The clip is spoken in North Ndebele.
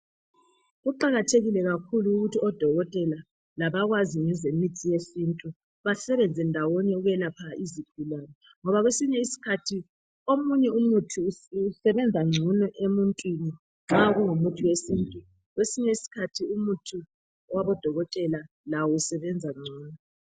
Kuqakathekile kakhulu ukuthi odokotela labakwazi ngezemithi yesintu basebenze ndawonye ukwelapha izifo ngoba kwesinye isikhathi omunye umuthi usebenza ngcono emuntwini nxa kungumuthi wesintu kwesinye isikhathi umuthi wabodokotela lawo usebenza ngcono.